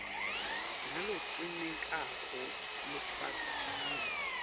nalogcinekako lofaka sandla